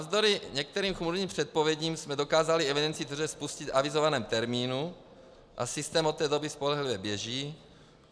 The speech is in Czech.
Navzdory některým chmurným předpovědím jsme dokázali evidenci tržeb spustit v avizovaném termínu a systém od té doby spolehlivě běží.